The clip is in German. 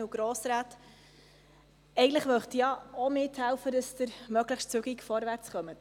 Eigentlich möchte ich ja auch mithelfen, dass Sie möglichst schnell vorwärtskommen.